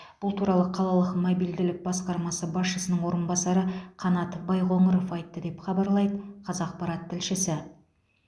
бұл туралы қалалық мобильділік басқармасы басшысының орынбасары қанат байқоңыров айтты деп хабарлайды қазақпарат тілшісі